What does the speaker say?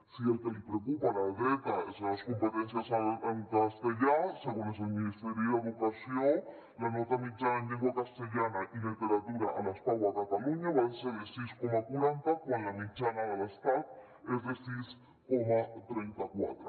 si el que li preocupa a la dreta són les competències en castellà segons el ministeri d’educació la nota mitjana en llengua castellana i literatura a les pau a catalunya va ser de sis coma quaranta quan la mitjana de l’estat és de sis coma trenta quatre